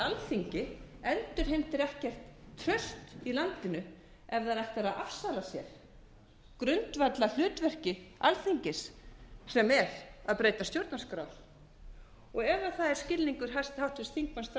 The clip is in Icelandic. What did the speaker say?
alþingi endurheimtir ekkert traust í landinu ef það ætlar að afsala sér grundvallarhlutverki alþingis sem er að breyta stjórnarskrá ef það er skilningur háttvirtur þingmaður þráins